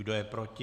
Kdo je proti?